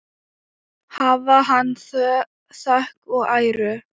Hafi hann þökk og æru!